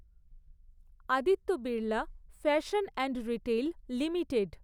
Aditya Birla fashion and retail limited